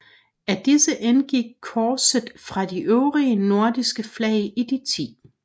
Af disse indgik korset fra de øvrige nordiske flag i de 10